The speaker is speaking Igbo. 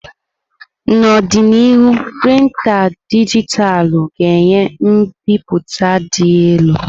N'ọdịnihu, printá dijitalụ ga-enye mbipụta dị elu.